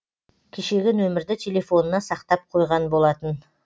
кешегі нөмірді телефонына сақтап қойған болатын